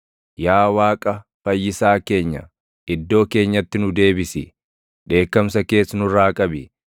Yaa Waaqa Fayyisaa keenya, iddoo keenyatti nu deebisi; dheekkamsa kees nurraa qabi.